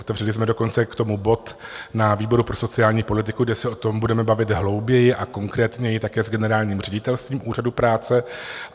Otevřeli jsme dokonce k tomu bod na výboru pro sociální politiku, kde se o tom budeme bavit hlouběji, a konkrétněji také s generálním ředitelstvím Úřadu práce.